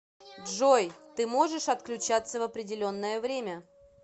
джой ты можешь отключаться в определенное время